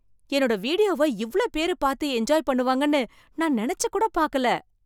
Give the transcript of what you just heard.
என்னோட வீடியோவை இவ்ளோ பேரு பார்த்து என்ஜாய் பண்ணுவாங்கன்னு நான் நினைச்சு கூட பாக்கல.